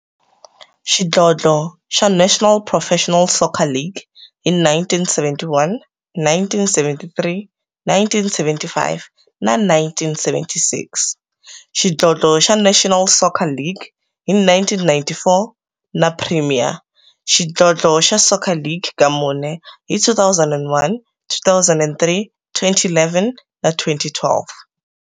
Xidlodlo xa National Professional Soccer League hi 1971, 1973, 1975 na 1976, xidlodlo xa National Soccer League hi 1994, na Premier Xidlodlo xa Soccer League ka mune, hi 2001, 2003, 2011 na 2012.